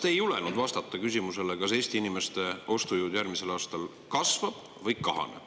Te ei julgenud vastata küsimusele, kas Eesti inimeste ostujõud järgmisel aastal kasvab või kahaneb.